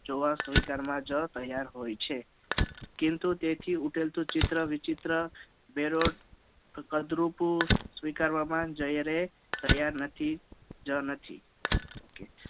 જોવા સ્વીકારવા માં જ તૈયાર હોય છે તેથી કિંતુ તેથી ઉકેલતું ચિત્ર વિચિત્ર બેરોટ કદરૂપું જ્યારે જોયા સ્વીકારવામાં તૈયાર નથી જ નથી ok